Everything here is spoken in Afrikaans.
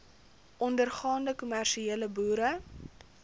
ondergaande kommersiële boere